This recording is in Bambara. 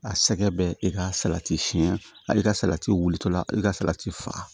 A sɛgɛn bɛ e ka salati siyɛn hali ka salati wulitɔ la i ka salati fa